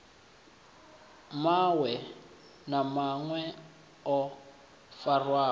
mawe na mawe o farwaho